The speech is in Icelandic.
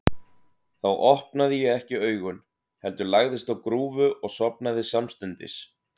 Þá opnaði ég ekki augun, heldur lagðist á grúfu og sofnaði samstundis.